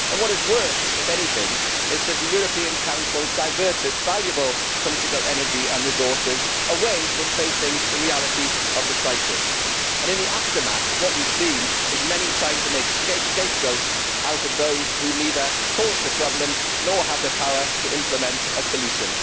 What is worse, if anything, is that the European Council diverted valuable political energy and resources away from facing the reality of the crisis. In the aftermath, what we have seen from many quarters is an attempt to make scapegoats out of those who neither caused the problem nor have the power to implement a solution.